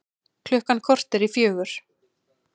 Klukkan korter í fjögur